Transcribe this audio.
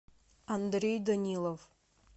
андрей данилов